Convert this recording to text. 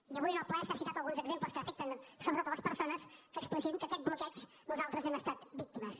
i avui en el ple s’han citat alguns exemples que afecten sobretot les persones que expliciten que d’aquest bloqueig nosaltres n’hem estat víctimes